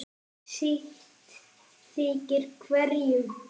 sitt þykir hverjum